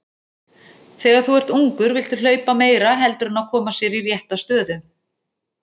Þegar þú ert ungur viltu hlaupa meira heldur en að koma sér í rétta stöðu.